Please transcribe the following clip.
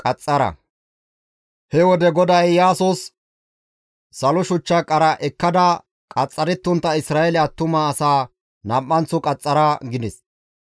He wode GODAY Iyaasos, «Salo shuchcha qara ekkada qaxxarettontta Isra7eele attuma asaa nam7anththo qaxxara» gides.